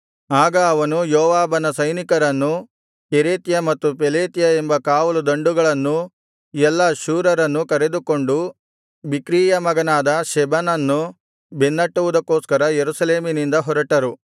ಆಗ ಅವನು ಯೋವಾಬನ ಸೈನಿಕರನ್ನೂ ಕೆರೇತ್ಯ ಮತ್ತು ಪೆಲೇತ್ಯ ಎಂಬ ಕಾವಲು ದಂಡುಗಳನ್ನೂ ಎಲ್ಲಾ ಶೂರರನ್ನೂ ಕರೆದುಕೊಂಡು ಬಿಕ್ರೀಯ ಮಗನಾದ ಶೆಬನನ್ನು ಬೆನ್ನಟ್ಟುವುದಕ್ಕೋಸ್ಕರ ಯೆರೂಸಲೇಮಿನಿಂದ ಹೊರಟರು